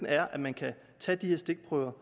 er at man kan tage de her stikprøver